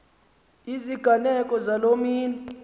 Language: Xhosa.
iziganeko zaloo mini